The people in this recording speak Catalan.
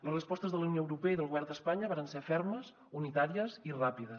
les respostes de la unió europea i del govern d’espanya varen ser fermes unitàries i ràpides